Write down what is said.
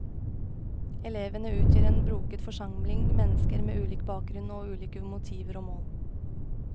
Elevene utgjør en broket forsamling mennesker med ulik bakgrunn og ulike motiver og mål.